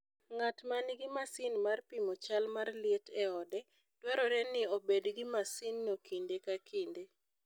Ng'at ma nigi masin mar pimo chal mar liet e ode, dwarore ni obed gi masinno kinde ka kinde.